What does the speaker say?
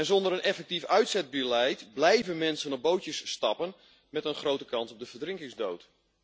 Zonder een effectief uitzetbeleid blijven mensen op bootjes stappen met een grote kans op de verdrinkingsdood.